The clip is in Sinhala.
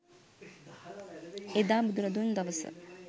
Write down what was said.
එදා බුදුරදුන් දවස